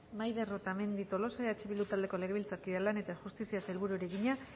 maider otamendi tolosa eh bildu taldeko legebiltzarkideak lan eta justiziako sailburuari egina